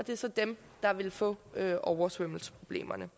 er så dem der vil få oversvømmelsesproblemerne